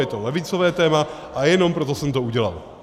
Je to levicové téma a jenom proto jsem to udělal.